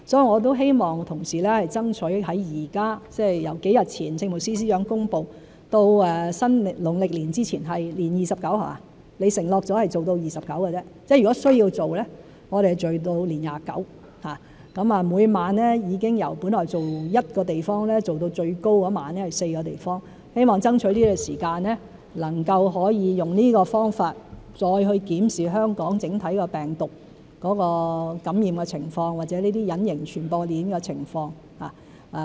我也希望同事爭取，由幾日前政務司司長公布，到農曆年前——承諾做到年廿九，即如果需要做的話，是做到年廿九；每晚已經由本來做一個地方，做到最多那一晚是4個地方——希望爭取時間能夠用這個方法再檢視香港整體病毒的感染情況，或者這些隱形傳播鏈的情況。